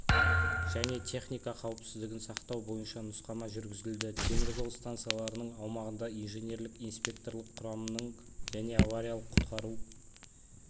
және техника қауіпсіздігін сақтау бойынша нұсқама жүргізілді темір жол станцияларының аумағында инженерлік-инспекторлық құрамның және авариялық-құтқару